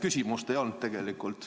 Küsimust ei olnud tegelikult.